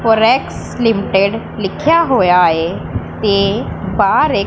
Corex limited ਲਿਖਿਆ ਹੋਇਆ ਏ ਤੇ ਬਾਹ ਏ--